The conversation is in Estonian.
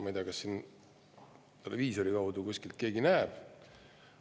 Ma ei tea, kas televiisori kaudu keegi seda näeb.